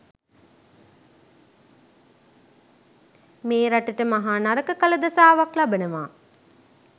මේ රටට මහ නරක කල දසාවක් ලබනවා.